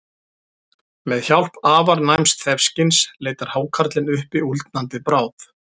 Með hjálp afar næms þefskyns leitar hákarlinn uppi úldnandi bráð.